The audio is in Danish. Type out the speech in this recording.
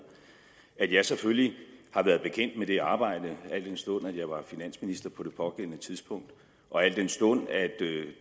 at jeg selvfølgelig har været bekendt med det arbejde al den stund at jeg var finansminister på det pågældende tidspunkt og al den stund at